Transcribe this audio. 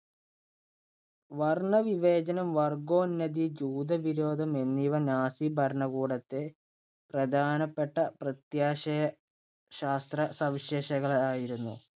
വർണ്ണവിവേചനം, വർഗ്ഗോന്നതി, ജൂതവിരോധം എന്നിവ നാസിഭരണകൂടത്തെ പ്രധാനപ്പെട്ട പ്രത്യാശയ ശാസ്ത്ര സവിശേഷകളായിരുന്നു.